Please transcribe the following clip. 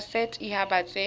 tsa set haba tse di